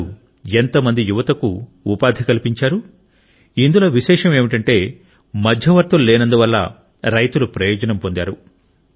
వారు ఎంత మంది యువతకు ఉపాధి కల్పించారు ఇందులో విశేషం ఏమిటంటే మధ్యవర్తులు లేనందువల్ల రైతులు ప్రయోజనం పొందారు